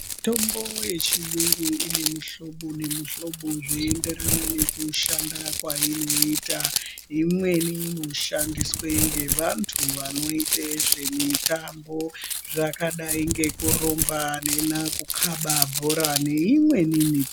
Mutombo ye chiyungu ine mu hlobo ne mu hlobo zvei enderana neku shanda kwaino ita imweni ino shandiswe nge vantu vano ite zve mitambo zvaka dai ngeku rumba neku kaba bhora ne imweni mitambo.